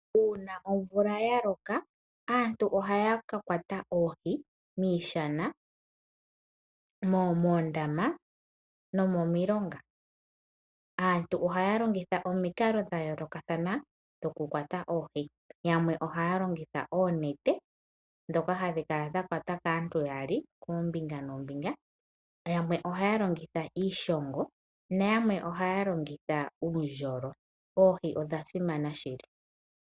Uuna omvula ya loka aantu ohaya ka kwata oohi miishana, moondama nomomilonga. Aantu ohaya longitha omikalo dha yoolokathana dhokukwata oohi. Yamwe ohaya longitha oonete ndhoka hadhi kala dha kwatwa kaantu yaali koombinga noombinga, yamwe ohaya longitha iishongo, nayamwe ohaya longitha uundjolo. Oohi odha simana shili.